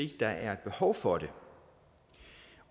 der er behov for det